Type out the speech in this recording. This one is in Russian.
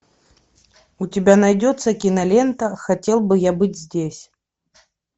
у тебя найдется кинолента хотел бы я быть здесь